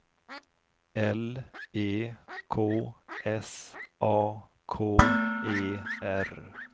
L E K S A K E R